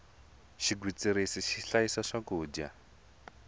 xigwitsirisi xi hlayisa swakudya